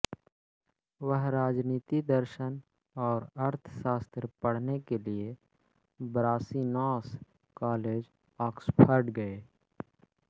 वह राजनीति दर्शन और अर्थशास्त्र पढ़ने के लिए ब्रासिनॉस कालेज ऑक्सफ़र्ड गए